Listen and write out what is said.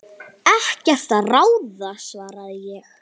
Ekkert að ráði svaraði ég.